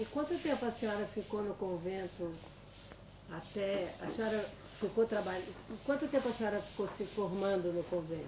E quanto tempo a senhora ficou no convento até, a senhora ficou trabalhan, quanto tempo a senhora ficou se formando no convento?